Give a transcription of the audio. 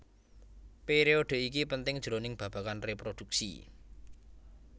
Periodhe iki penting jroning babagan reproduksi